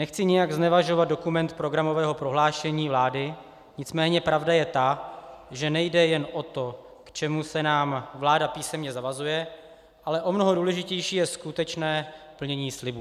Nechci nijak znevažovat dokument programového prohlášení vlády, nicméně pravda je ta, že nejde jen o to, k čemu se nám vláda písemně zavazuje, ale o mnoho důležitější je skutečné plnění slibů.